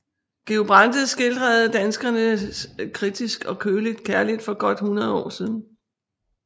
Georg Brandes skildrede danskerne kritisk og køligt kærligt for godt 100 år siden